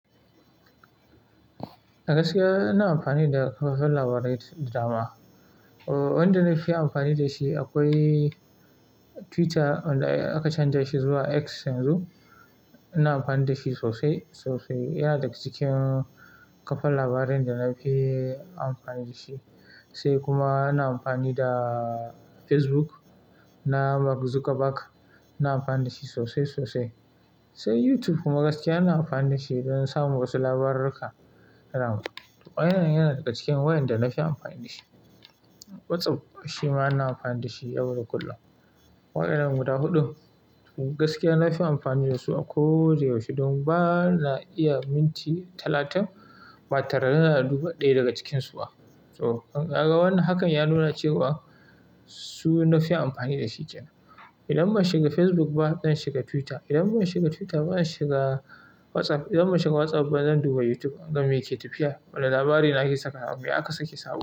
Gaskiya ina amfani da kafar labarai da dama. Wanda na fi amfani da shi akwai Twitter wanda aka canja shi zuwa X yanzu. Ina amfani da shi sosai sosai. Yana daga cikin kafar labarin da na fi amfani da shi. Sai kuma ina amfani da Facebook na Mark Zuckerberg. Ina amfani da shi sosai sosai. Sai YouTube kuma gaskiya ina amfani da shi don samun wasu labarurruka. Waɗannan yana daga cikin wayanda na fi amfani da shi. WhatsApp shi ma ina amfani da shi yauda kullum. Waɗannan guda huɗun gaskiya na fi amfani da su a koyaushe don ba na iya minti talatin ba tare da na duba ɗaya daga cikinsu ba. To, ka ga wannan hakan ya nuna cewa su na fi amfani da shi ke nan. Idan ban shiga Facebook ba, zan shiga Twitter. Idan ban shiga Twitter ba, zan shiga WhatsApp. Idan ban shiga WhatsApp ba, zan duba YouTube in ga me ke tafiya. Wane labari nake saka nan me aka sake saba.